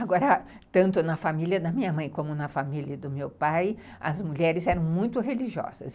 Agora, tanto na família da minha mãe como na família do meu pai, as mulheres eram muito religiosas.